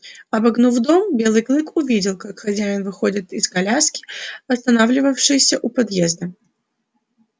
обогнув дом белый клык увидел как хозяин выходит из коляски останавливавшейся у подъезда